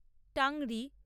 tangri